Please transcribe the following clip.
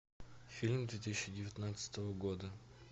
фильм две тысячи девятнадцатого года